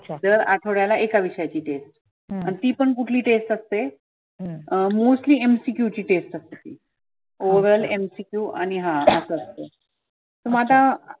दर आठवड्याला एका विषयाची test आन ती पण कुठल्या विषयाची test असते अं mostly MCQ ची test असते. oral MCQ आणि हा असं. मग आता